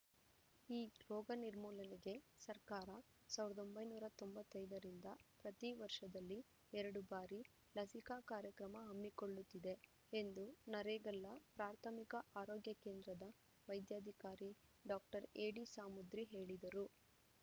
ಈ ರೋಗ ನಿರ್ಮೂಲನೆಗೆ ಸರ್ಕಾರ ಸಾವಿರದ ಒಂಬೈನೂರ ತೊಂಬತ್ತೈದರಿಂದ ಪ್ರತಿವರ್ಷದಲ್ಲಿ ಎರಡು ಬಾರಿ ಲಸಿಕಾ ಕಾರ್ಯಕ್ರಮ ಹಮ್ಮಿಕೊಳ್ಳುತ್ತಿದೆ ಎಂದು ನರೇಗಲ್ಲ ಪ್ರಾಥಮಿಕ ಆರೋಗ್ಯ ಕೇಂದ್ರದ ವೈದ್ಯಾಧಿಕಾರಿ ಡಾಕ್ಟರ್ ಎಡಿ ಸಾಮುದ್ರಿ ಹೇಳಿದರು